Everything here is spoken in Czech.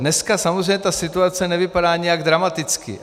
Dneska samozřejmě ta situace nevypadá nijak dramaticky.